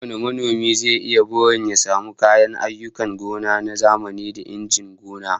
Kowane manomi zai yi burin ya samu kayan ayyukan gona na zamani da injinan gona